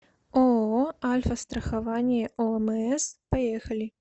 ооо альфастрахование омс поехали